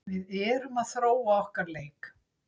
Við erum að þróa okkar leik.